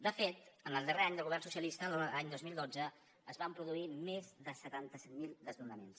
de fet el darrer any de govern socialista l’any dos mil dotze es van produir més de setanta set mil desnonaments